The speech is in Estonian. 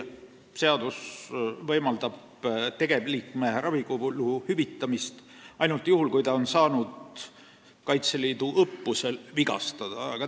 Praegu võimaldab seadus tegevliikme ravikulu hüvitada ainult juhul, kui ta on saanud Kaitseliidu õppusel vigastada.